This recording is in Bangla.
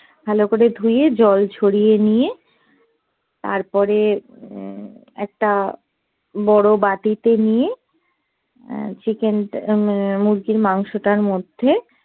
ভালো করে ধুয়ে জল ঝরিয়ে নিয়ে তারপরে উহ একটা বড় বাটিতে নিয়ে আহ চিকেন মুরগির মাংশোটার মধ্যে